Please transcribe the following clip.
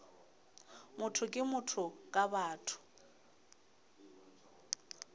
motho ke motho ka batho